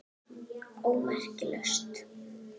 ómerkt lausn